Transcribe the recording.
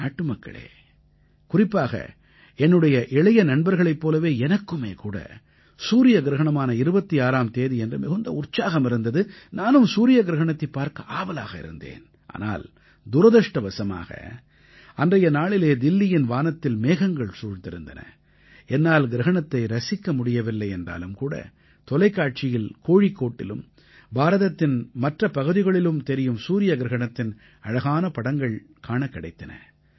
நாட்டுமக்களே குறிப்பாக என்னுடைய இளைய நண்பர்களைப் போலவே எனக்குமே கூட சூரிய கிரஹணமான 26ஆம் தேதியன்று மிகுந்த உற்சாகம் இருந்தது நானும் சூரிய கிரஹணத்தைப் பார்க்க ஆவலாக இருந்தேன் ஆனால் துரதிர்ஷ்டவசமாக அன்றைய நாளிலே தில்லியின் வானத்தில் மேகங்கள் சூழ்ந்திருந்தன என்னால் கிரஹணத்தை ரசிக்க முடியவில்லை என்றாலும் கூட தொலைக்காட்சியில் கோழிக்கோட்டிலும் பாரதத்தின் மற்ற பகுதிகளிலும் தெரியும் சூரிய கிரஹணத்தின் அழகான படங்கள் காணக் கிடைத்தன